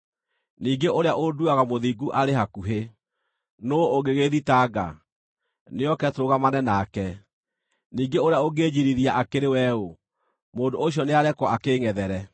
Ningĩ ũrĩa ũnduuaga mũthingu arĩ hakuhĩ. Nũũ ũngĩgĩĩthitanga? Nĩoke tũrũgamane nake! Ningĩ ũrĩa ũngĩnjiirithia akĩrĩ we ũ? Mũndũ ũcio nĩarekwo akĩĩngʼethere!